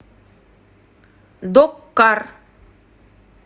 док кар